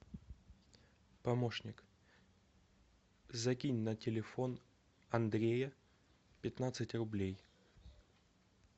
помощник закинь на телефон андрея пятнадцать рублей